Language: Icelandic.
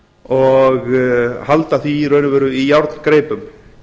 og halda því í raun og veru í járngreipum